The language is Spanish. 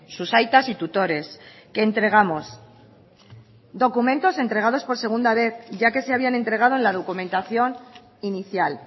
sus aitas y tutores que entregamos documentos entregados por segunda vez ya que se habían entregado en la documentación inicial